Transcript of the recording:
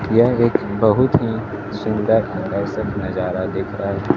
यह एक बहुत ही सुंदर आकर्षक नजारा दिख रहा है।